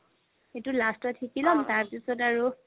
এইটো last ত শিকি ল'ম তাৰ পিছত আৰু